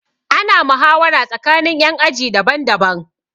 Ana muhawara tsakanin ƴan aji daban daban